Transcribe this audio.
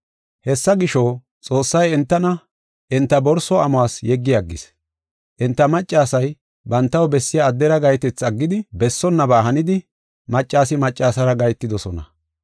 Hessa gisho, Xoossay entana enta borso amuwas yeggi aggis. Enta maccasay bantaw bessiya addera gahetethi aggidi, bessonnaba hanidi maccasi maccasara gahetidosona.